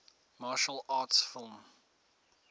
martial arts film